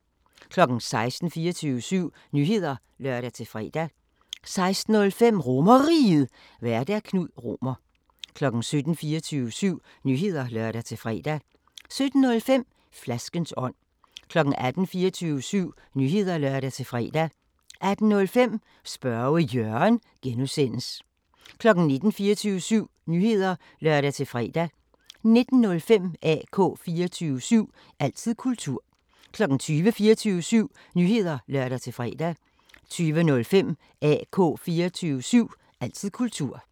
16:00: 24syv Nyheder (lør-fre) 16:05: RomerRiget, Vært: Knud Romer 17:00: 24syv Nyheder (lør-fre) 17:05: Flaskens ånd 18:00: 24syv Nyheder (lør-fre) 18:05: Spørge Jørgen (G) 19:00: 24syv Nyheder (lør-fre) 19:05: AK 24syv – altid kultur 20:00: 24syv Nyheder (lør-fre) 20:05: AK 24syv – altid kultur